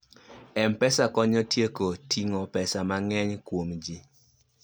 mpesa konyo tieko ting'o pesa mang'eny kuom ji